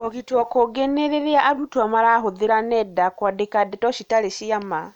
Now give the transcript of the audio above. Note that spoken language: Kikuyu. kũũgitwo kũngĩ nĩ rĩrĩa arutwo marahũthĩra nenda kũandĩka ndeto citarĩ cia ma.